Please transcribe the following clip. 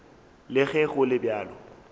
le ge go le bjalo